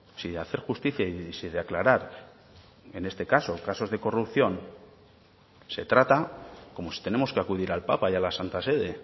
si hacer justicia y si de aclarar en este caso casos de corrupción se trata como si tenemos que acudir al papa y a la santa sede